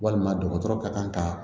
Walima dɔgɔtɔrɔ ka kan ka